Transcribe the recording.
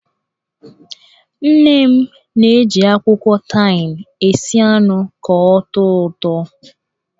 Nne m na-eji akwụkwọ taịm esi anụ ka ọ tọọ ụtọ.